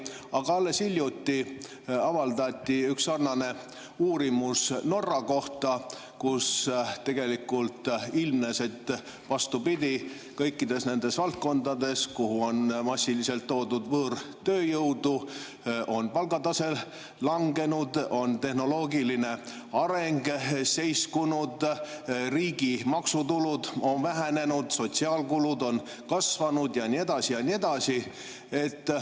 Aga alles hiljuti avaldati üks uurimus Norra kohta, kust tegelikult ilmnes, et vastupidi, kõikides nendes valdkondades, kuhu on massiliselt toodud võõrtööjõudu, on palgatase langenud ja tehnoloogiline areng seiskunud, riigi maksutulud on vähenenud, sotsiaalkulud on kasvanud ja nii edasi ja nii edasi.